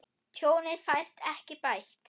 Tjónið fæst ekki bætt.